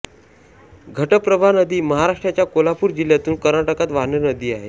घटप्रभा नदी महाराष्ट्राच्या कोल्हापूर जिल्ह्यातून कर्नाटकात वाहणारी नदी आहे